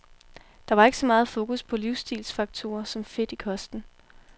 Der var ikke så meget fokus på livsstilsfaktorer som fedt i kosten.